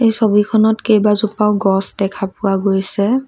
এই ছবিখনত কেইবাজোপাও গছ দেখা পোৱা গৈছে।